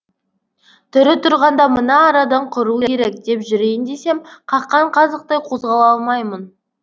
тірі тұрғанда мына арадан құру керек деп жүрейін десем қаққан қазықтай қозғала алмаймын